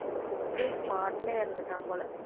அப்படி spot லயே இறந்துட்டான் போல